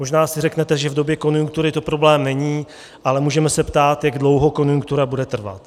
Možná si řeknete, že v době konjunktury to problém není, ale můžeme se ptát, jak dlouho konjunktura bude trvat.